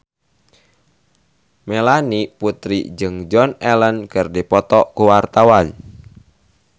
Melanie Putri jeung Joan Allen keur dipoto ku wartawan